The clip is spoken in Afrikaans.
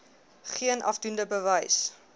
geen afdoende bewys